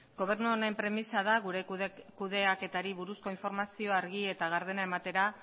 gobernu honen premisa da gure kudeaketari buruzko informazio argi eta gardena ematera